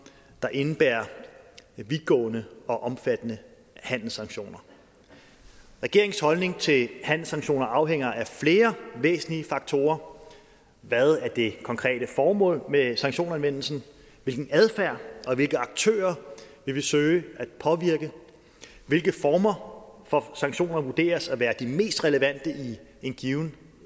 der indebærer vidtgående og omfattende handelssanktioner regeringens holdning til handelssanktioner afhænger af flere væsentlige faktorer hvad er det konkrete formål med sanktionsanvendelsen hvilken adfærd og hvilke aktører vil vi søge at påvirke hvilke former for sanktioner vurderes at være de mest relevante i en given